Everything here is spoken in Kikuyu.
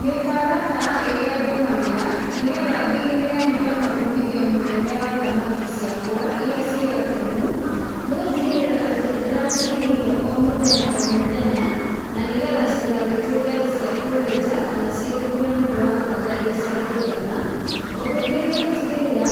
Mĩtaratara ĩrĩa ndũmagĩra, nĩ getha ndigĩrĩre nĩ ndona umithio mũnene wa thamaki ciakwa irĩa ciĩ gatemu, nĩ gũtigĩrĩra atĩ nĩ ndĩracihe irio o mũthenya o mũthenya, na nĩ getha itigatuĩke atĩ cia kũhĩnja, kana cigĩkue nĩ ũndũ wa kwaga irio cia kũigana, ũndũ ũngĩ nĩ gũtigĩrĩra